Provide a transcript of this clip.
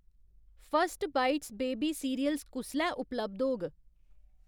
First bites baby cereals कुसलै उपलब्ध होग ?